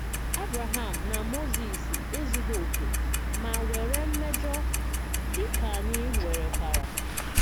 Ábráhám nà Mózes èzùghì òkè mà nwerè mmèjọ̀, díkà ányì nwèrèkwàrà.